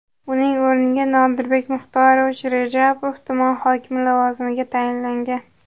Uning o‘rniga Nodirbek Muxtorovich Rajapov tuman hokimi lavozimiga tayinlangan.